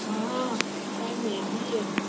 હા કાલ મેહદી હે